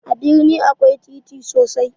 A birni akwai titi sosai